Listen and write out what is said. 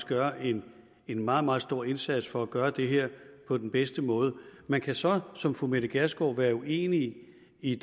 gør en en meget meget stor indsats for at gøre det her på den bedste måde man kan så som fru mette gjerskov være uenig i